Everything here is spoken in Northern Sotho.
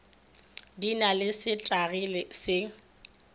di na le setagi se